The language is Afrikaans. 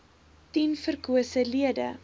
tien verkose lede